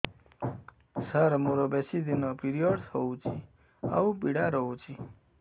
ସାର ମୋର ବେଶୀ ଦିନ ପିରୀଅଡ଼ସ ହଉଚି ଆଉ ପୀଡା ହଉଚି